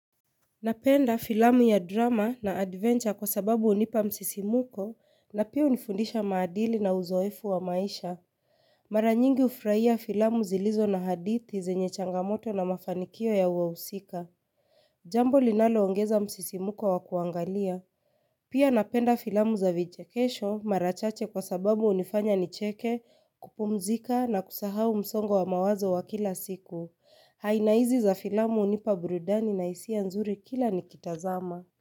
Napenda filamu ya drama na adventure kwa sababu hunipa msisimko na pia hunifundisha maadili na uzoefu wa maisha. Mara nyingi hufurahia filamu zilizo na hadithi zenye changamoto na mafanikio ya wahusika. Jambo linaloongeza msisimko wa kuangalia. Pia napenda filamu za vichekesho mara chache kwa sababu hunifanya nicheke kupumzika na kusahau msongo wa mawazo wa kila siku. Aina hizi za filamu hunipa burudani na hisia nzuri kila nikitazama.